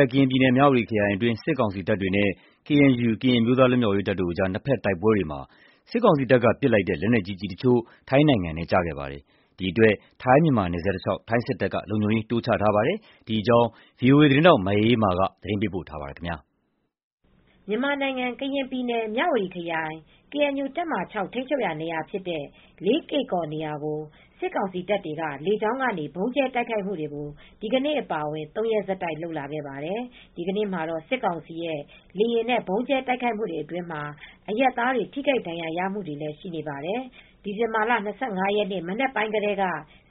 ပ် ကရင်ပြည်နယ် မြဝတီခရိုင်အတွင်း စစ်ကောင်စီတပ်တွေနဲ့ ကေအန်ယူ ကရင်အမျိုးသား လွတ်မြောက်ရေးတပ်တို့ရဲ့ နှစ်ဖက်တိုက်ပွဲတွေမှာ မြန်မာစစ်ကောင်စီဘက်က လက်နက်ကြီးကျည်တချို့ ထိုင်းနိုင်ငံထဲ ကျရောက်ခဲ့ပါတယ်။ ဒီအတွက် ထိုင်းနယ်စပ်တလျှောက် ထိုင်းစစ်တပ်တွေ လုံခြုံရေး တိုးချလာပါတယ်။ ဒီအကြောင်း ဗွီအိုအေသတင်းထောက် မအေးအေးမာ သတင်းပေးပို့ထားပါတယ်။ မြန်မာနိုင်ငံ ကရင်ပြည်နယ် မြဝတီခရိုင် ကေအန်ယူ တပ်မဟာ ၆ ထိန်းချုပ်ရာနေရာဖြစ်တဲ့ လေးကေ့ကော်နေရာကို စစ်ကောင်စီတပ်တွေက လေကြောင်းကနေ ဗုံးကြဲတိုက်ခိုက်မှုတွေကို ဒီကနေ့အပါအဝင် ၃ ရက်ဆက်တိုက် လုပ်လာခဲ့ပါတယ်။ ဒီနေ့မှာတော့ စစ်ကောင်စီရဲ့ လေယာဉ်နဲ့ ဗုံးကြဲတိုက်ခိုက်မှုအတွင်းမှာ အရပ်သားတွေ ထိခိုက်ဒဏ်ရာရမှုတွေလည်း ရှိနေပါတယ်။ ဒီဇင်ဘာလ ၂၅ ရက်နေ့ မနက်ပိုင်းကတည်းက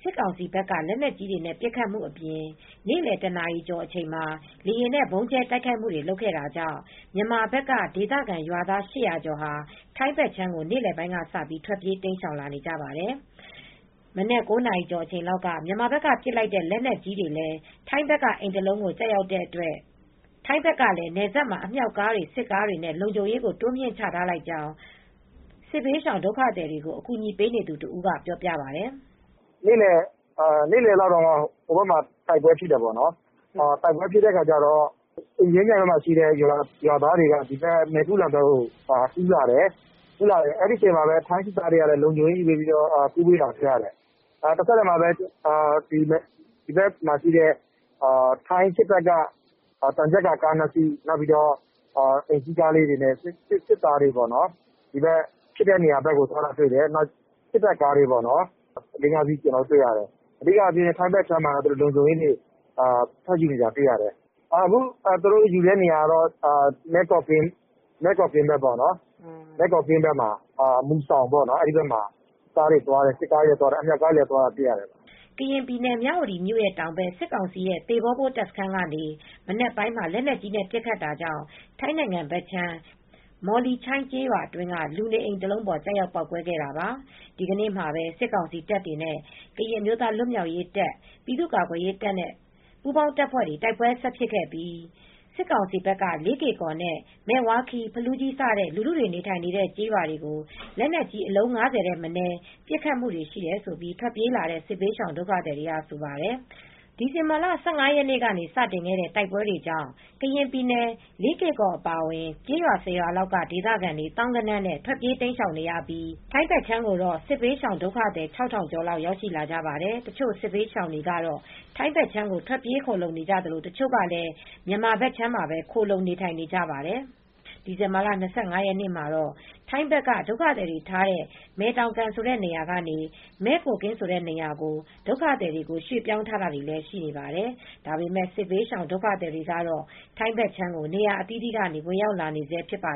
စစ်ကောင်စီဘက်က လက်နက်ကြီးတွေနဲ့ ပစ်ခတ်မှုတွေအပြင် နေ့လယ် ၁ နာရီကျော်မှာ လေယာဉ်နဲ့ ဗုံးကြဲတိုက်ခိုက်မှုတွေ လုပ်ခဲ့တာကြောင့် မြန်မာဘက်က ဒေသခံရွာသား ၈၀၀ ကျော်ဟာ ထိုင်းဘက်ခြမ်းကို နေ့လယ်ပိုင်းကစပြီး ထွက်ပြေး တိမ်းရှောင်လာနေပါတယ်။ မနက် ၉ နာရီကျော်လောက်က မြန်မာဘက်က ပစ်ခတ်လိုက်တဲ့ လက်နက်ကြီးတွေလည်း ထိုင်းဘက်က အိမ်တလုံးကို ကျတဲ့အတွက် ထိုင်းဘက်ကလည်း နယ်စပ်မှာ အမြောက်ကားတွေ စစ်ကားတွေနဲ့ လုံခြုံရေးကို တိုးမြှင့်ချထားလိုက်ကြောင်း စစ်ဘေးရှောင် ဒုက္ခသည်တွေကို အကူအညီပေးနေသူတဦးက ပြောပြပါတယ်။ “နေ့လယ်လောက်မှာ ဟိုဘက်မှာ တိုက်ပွဲဖြစ်တော့ အင်ကြင်းမြိုင်ဘက်က ရွာသားတွေကလည်း ဒီဘက်ကမ်း မယ်ကုလန်ဘက်ကို ကူးလာတယ်။ ထိုင်းစစ်တပ်ကလည်း လုံခြုံရေးယူပေးပြီး ကူးပေးနေတာ တွေ့ရတယ်။ တဆက်တည်းမှာပဲ ထိုင်းစစ်တပ်က သံချပ်ကာကား ၂ စီး၊ အိမ်စီးကားတွေနဲ့လည်း သွားနေတာ တွေ့ရတယ်။ စစ်တပ်တွေက ဖြစ်တဲ့နေရာကို သွားနေတာ တွေ့ရတယ်။ စစ်တပ်က ကားလေးငါးစီးလည်း သွားနေတယ်။ ထိုင်းဘက်ကမ်းမှာ လုံခြုံရေးတွေနဲ့ စောင့်ကြည့်နေတာ တွေ့ရတယ်။ အခု နေရာယူတဲ့ နေရာကတော့ မယ့်ကိုကင်းမူစောင်ဘက်မှာ အမြောက်ကားတွေလည်း သွားတာတွေ့ရတယ်။ စစ်ကားတွေလည်း သွားတယ်။” ကရင်ပြည်နယ် မြဝတီတောင်ဘက် စစ်ကောင်စီရဲ့ သေဘောဘိုး တပ်စခန်းကနေ မနက်ပိုင်းမှာ လက်နက်ကြီးနဲ့ ပစ်ခတ်တာကြောင့် ထိုင်းနိုင်ငံဘက်ခြမ်း မောလီချိုင်း ကျေးရွာအတွင်းက လူနေအိမ်တလုံးပေါ် ကျရောက်ပေါက်ကွဲခဲ့တာပါ။ ဒီကနေ့မှာပဲ စစ်ကောင်စီတပ်တွေနဲ့ ကရင်အမျိုးသား လွတ်မြောက်ရေးတပ်၊ ပြည်သူ့ကာကွယ်ရေးတပ်တွေနဲ့ ပူးပေါင်းတပ်တွေ တိုက်ပွဲ ဆက်တိုက်ဖြစ်ခဲ့ပြီး စစ်ကောင်စီဘက်က လေးကေ့ကော်နဲ့ မယ်ဝါးခီး၊ ဖလူးကြီး စတဲ့ လူထုတွေနေထိုင်တဲ့ ကျေးရွာတွေကို လက်နက်ကြီး အလုံး ၅၀ ထက်မနည်း ပစ်ခတ်မှုတွေ ရှိတယ်လို့ ထွက်ပြေးလာတဲ့ စစ်ဘေးရှောင်ဒုက္ခသည်တွေက ဆိုပါတယ်။ ဒီဇင်ဘာလ ၁၅ ရက်နေ့ကနေ စတင်ခဲ့တဲ့ တိုက်ပွဲတွေကြောင့် ကရင်ပြည်နယ် လေးကေ့ကော် အပါအဝင် ကျေးရွာ ၁၀ ရွာလောက်က ဒေသခံတွေ သောင်းဂဏန်းနဲ့ ထွက်ပြေးတိမ်းရှောင်နေရပြီး ထိုင်းဘက်ခြမ်းကိုတော့ စစ်ဘေးရှောင်ဒုက္ခသည် ၆,၀၀၀ ကျော်လောက် ရောက်ရှိလာကြပါတယ်။ တချို့ စစ်ဘေးရှောင်တွေကတော့ ထိုင်းဘက်ခြမ်းကို ထွက်ပြေးခိုလှုံနေကြသလို တချို့ကလည်း မြန်မာဘက်ခြမ်းမှာပဲ ခိုလှုံနေထိုင်နေကြပါတယ်။ ဒီဇင်ဘာလ ၂၅ ရက်နေ့မှာတော့ ထိုင်းဘက်က ဒုက္ခသည်တွေထားတဲ့ မယ်တောင်ကန်ဆိုတဲ့ နေရာကနေ မယ့်ကိုးကင်းဆိုတဲ့ နေရာကို ဒုက္ခသည်တွေကို ရွှေ့ပြောင်းထားတာတွေလည်း ရှိနေပါတယ်။ ဒါပေမယ့် စစ်ဘေးရှောင် ဒုက္ခသည်တွေကတော့ ထိုင်းဘက်ခြမ်းကို နေရာအသီးသီးကနေ ဝင်ရောက်လာနေဆဲ ဖြစ်ပါ